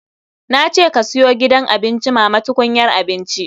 Na ce ka siyo gidan abinci mama tukunyar abinci.